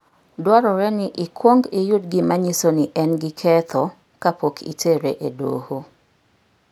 Dwarore ni ikwong iyud gima nyiso ni en gi ketho kapok itere e doho.